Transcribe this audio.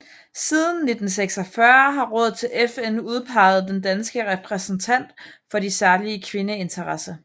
Siden 1946 har rådet til FN udpeget den danske repræsentant for de særlige kvindeinteresser